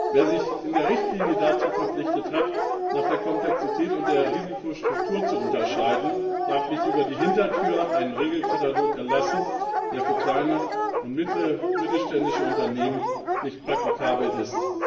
Wer sich in der Richtlinie dazu verpflichtet hat, nach der Komplexität und der Risikostruktur zu unterscheiden, darf nicht über die Hintertür einen Regelkatalog erlassen, der für kleine und mittelständische Unternehmen nicht praktikabel ist.